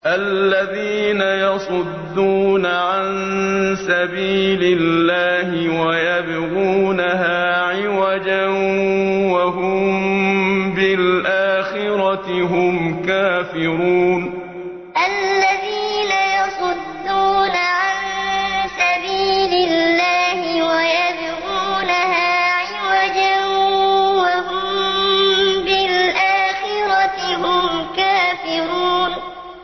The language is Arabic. الَّذِينَ يَصُدُّونَ عَن سَبِيلِ اللَّهِ وَيَبْغُونَهَا عِوَجًا وَهُم بِالْآخِرَةِ هُمْ كَافِرُونَ الَّذِينَ يَصُدُّونَ عَن سَبِيلِ اللَّهِ وَيَبْغُونَهَا عِوَجًا وَهُم بِالْآخِرَةِ هُمْ كَافِرُونَ